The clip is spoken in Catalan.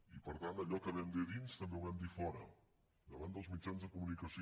i per tant allò que vam dir a dins també ho vam dir a fora davant dels mitjans de comunicació